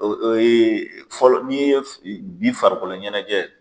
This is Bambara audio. O o ye fɔlɔ n'i ye bi farikolo ɲɛnajɛ.